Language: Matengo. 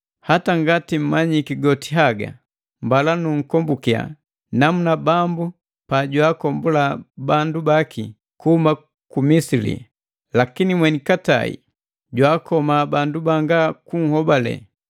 Hata ngati mmanyiki goti haga, mbala nunkombukia namuna Bambu pa jwaagombula bandu baki kuhuma ku Misili lakini mweni katai jwaakoma bandu banga kunhobale.